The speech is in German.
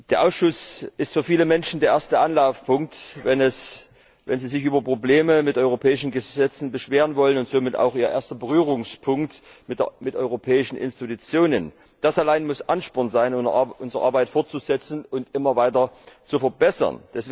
Der Ausschuss ist für viele Menschen der erste Anlaufpunkt, wenn sie sich über Probleme mit europäischen Gesetzen beschweren wollen, und somit auch ihr erster Berührungspunkt mit europäischen Institutionen. Das allein muss Ansporn sein, unsere Arbeit fortzusetzen und immer weiter zu verbessern.